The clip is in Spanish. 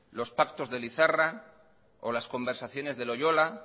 los pactos de lizarra o las conversaciones de loyola